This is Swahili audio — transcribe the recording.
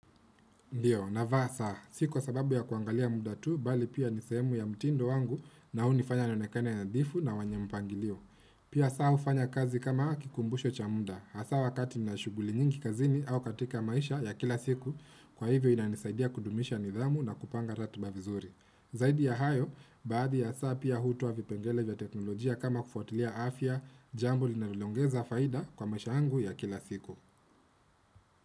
Ndiyo, navaa saa. Si kwa sababu ya kuangalia muda tu, bali pia ni sehemu ya mtindo wangu na hunifanya nionekane nadhifu na mwenye mpangilio. Pia saa hufanya kazi kama kikumbusho cha muda. Hasa wakati nina shuguli nyingi kazini au katika maisha ya kila siku, kwa hivyo inanisaidia kudumisha nidhamu na kupanga ratiba vizuri. Zaidi ya hayo, baadhi ya saa pia hutoa vipengele vya teknolojia kama kufuatilia afya, jambo linalo ongeza faida kwa maisha yangu ya kila siku.